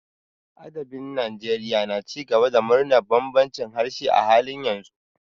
Adabin Najeriya na ci gaba da murnar bambancin harshe a halin yanzu.